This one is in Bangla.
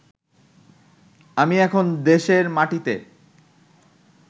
আমি এখন দেশের মাটিতে